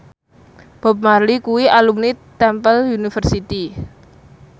Bob Marley kuwi alumni Temple University